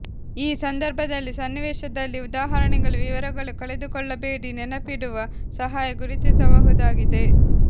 ಈ ಸಂದರ್ಭದಲ್ಲಿ ಸನ್ನಿವೇಶದಲ್ಲಿ ಉದಾಹರಣೆಗಳು ವಿವರಗಳು ಕಳೆದುಕೊಳ್ಳಬೇಡಿ ನೆನಪಿಡುವ ಸಹಾಯ ಗುರುತಿಸಬಹುದಾಗಿದೆ